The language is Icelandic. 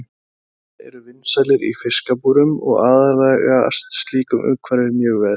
Sæhestar eru vinsælir í fiskabúrum og aðlagast slíku umhverfi mjög vel.